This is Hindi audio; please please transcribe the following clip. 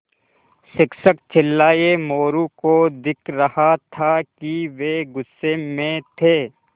शिक्षक चिल्लाये मोरू को दिख रहा था कि वे गुस्से में थे